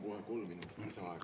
Palun kohe kolm minutit lisaaega.